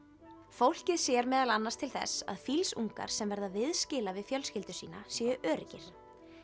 fólkið sér meðal annars til þess að sem verða viðskila við fjölskyldu sína séu öruggir